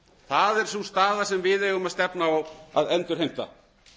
það er sú staða sem við eigum að stefna á að endurheimta